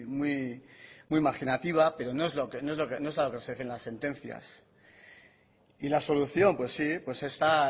muy imaginativa pero no es lo que se dice en las sentencias y la solución pues sí está